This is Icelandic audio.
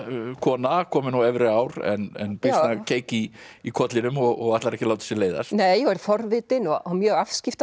kona komin á efri ár en býsna keik í í kollinum og ætlar ekki að láta sér leiðast nei og er forvitin og mjög